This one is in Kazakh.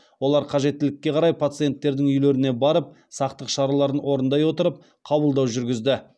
олар қажеттілікке қарай пациенттердің үйлеріне барып сақтық шараларын орындай отырып қабылдау жүргізді